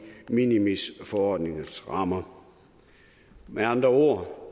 minimis forordningens rammer med andre ord